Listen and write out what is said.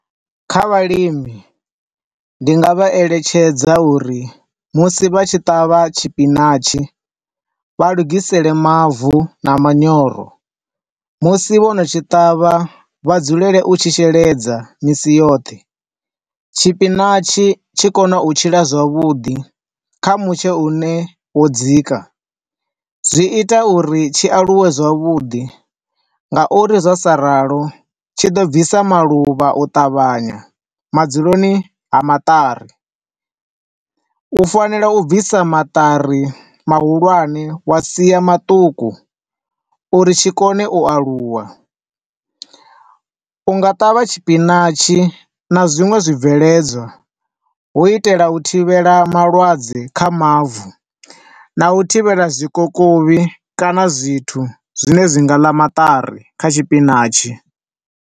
Kha vhalimi ndi nga vha eletshedza uri musi vha tshi ṱavha tshipinatshi, vha lugisele mavu na manyoro. Musi vho no tshi ṱavha vha dzulele u tshi sheledza misi yoṱhe. Tshipinatshi tshi kona u tshila zwavhuḓi kha mutsho une wo dzika, zwi ita uri tshi aluwe zwavhuḓi nga uri zwa sa ralo tshi ḓo bvisa maluvha u ṱavhanya madzuloni ha maṱari. U fanela u bvisa maṱari mahulwane wa sia maṱuku, uri tshi kone u aluwa. U nga ṱavha tshipinatshi na zwiṅwe zwi bveledzwa, hu u itela u thivhela malwadze kha mavu, na u thivhela zwikokovhi kana zwithu zwine zwi nga ḽa maṱari kha tshipinatshi.